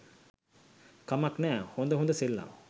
කමක් නෑ හොඳ හොඳ සෙල්ලම්